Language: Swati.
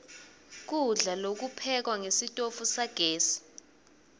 kudla lokuphekwa ngesitofu sagesi